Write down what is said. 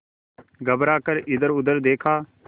घबरा कर इधरउधर देखा